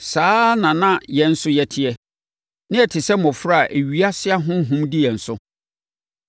Saa ara na na yɛn nso yɛteɛ. Na yɛte sɛ mmɔfra a ewiase ahonhom dii yɛn so.